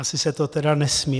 Asi se to teda nesmí.